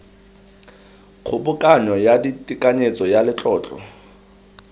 kgobokanyo ya tekanyetso ya letlotlo